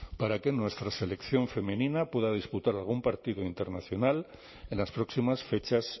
para que nuestra selección femenina pueda disputar algún partido internacional en las próximas fechas